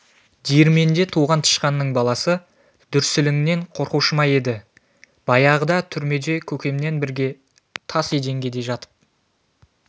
диірменде туған тышқанның баласы дүрсіліңнен қорқушы ма еді баяғыда түрмеде көкеммен бірге тас еденге де жатып